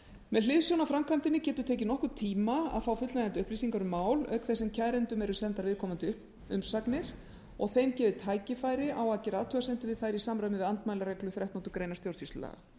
með hliðsjón af framkvæmdinni getur tekið nokkurn tíma að fá fullnægjandi upplýsingar um mál auk þess sem kærendum eru sendar viðkomandi umsagnir og þeim gefið tækifæri á að gera athugasemdir við þær í samræmi við andmælareglu þrettándu greinar stjórnsýslulaga